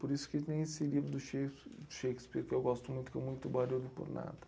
Por isso que tem esse livro do Shakes Shakespeare, que eu gosto muito, que é o muito barulho por nada.